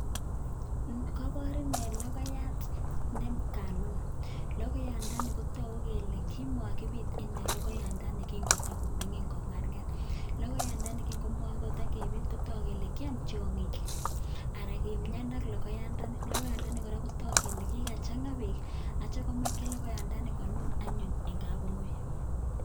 Kopor inee logoyat ne kanun. Logoyandani kotogu kele kimokipiit ine logoyandani kingotagomingin, kong'arng'ar. Logoyandani king'omotogepiit kotok kele kiam tiong'ik. Ana kimian logoyandani. Logoyandani kotok kora kole kigachang'a beek, aitya komaken logoyandani konun anyun en kapungui.